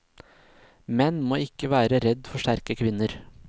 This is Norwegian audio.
Menn må ikke være redd for sterke kvinner.